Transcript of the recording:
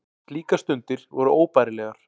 Slíkar stundir voru óbærilegar.